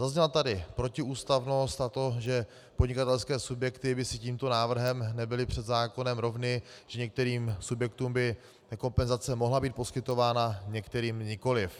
Zazněla tady protiústavnost, a to že podnikatelské subjekty by si tímto návrhem nebyly před zákonem rovny, že některým subjektům by kompenzace mohla být poskytována, některým nikoliv.